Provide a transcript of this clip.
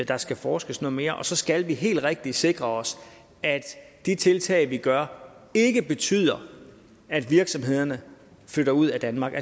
der skal forskes noget mere og så skal vi helt rigtigt sikre os at de tiltag vi gør ikke betyder at virksomhederne flytter ud af danmark